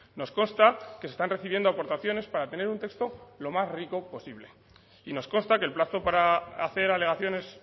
nos consta que se están recibiendo aportaciones para tener un texto lo más rico posible y nos consta que el plazo para hacer alegaciones